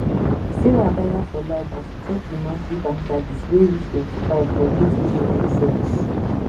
sarah taya for life as she check the monthly bank charges wey reach 25 for things wey no make sense